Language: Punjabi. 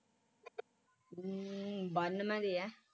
ਅਮ ਬਾਨਵੇ ਦੇ ਐ